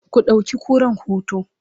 ku ɗauki kuran hoto!